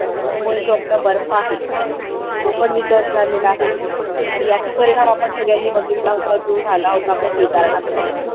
अन त्याच्यामुळे जो आपला बर्फ आहे तो पण वितळत चालला आहे आणि याचा परिणाम आपण सगळ्यांनी बघितला होता जो झाला होता आपल्या केदारनाथमध्ये